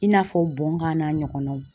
I n'a fɔ bɔnnkan n'a ɲɔgɔnnaw